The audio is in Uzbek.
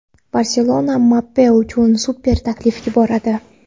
"Barselona" Mbappe uchun super taklif yuboradi.